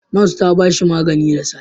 Nas ta ba shi magani da safe.